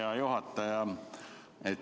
Hea juhataja!